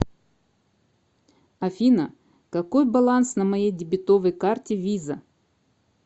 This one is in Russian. афина какой баланс на моей дебетовой карте виза